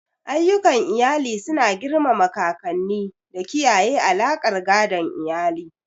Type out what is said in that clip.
Ayyukan iyali suna girmama kakanni da kiyaye alaƙar gadon iyali.